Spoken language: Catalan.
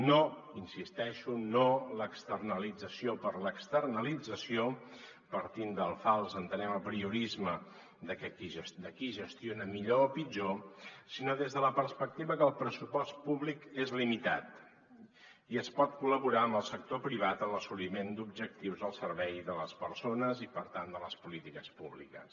hi insisteixo no l’externalització per l’externalització partint del fals entenem apriorisme de qui gestiona millor o pitjor sinó des de la perspectiva que el pressupost públic és limitat i es pot col·laborar amb el sector privat en l’assoliment d’objectius al servei de les persones i per tant de les polítiques públiques